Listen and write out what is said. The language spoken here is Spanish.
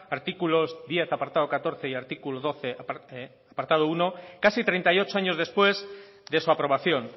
artículos diez apartado catorce y artículo doce apartado uno casi treinta y ocho años después de su aprobación